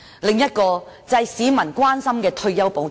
另一個市民關心的問題是退休保障。